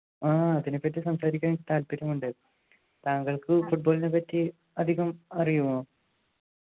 ആഹ് അതിനെപ്പറ്റി സംസാരിക്കാൻ എനിക്ക് താല്പര്യമുണ്ട് താങ്കൾക്ക് Football നെ പറ്റി അധികം അറിയുമോ